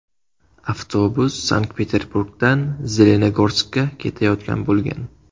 Avtobus Sankt-Peterburgdan Zelenogorskka ketayotgan bo‘lgan.